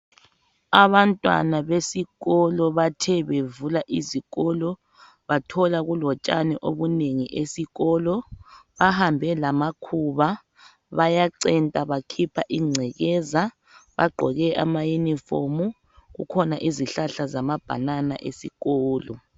Abantwana besikolo bathe bevula izikolo bathola kulo tshani obunengi esikolo, bahambe lamakhuba bayacenta bakhipha ingcekeza baqoke ama uniform kukhona izihlala zama banana esikolo.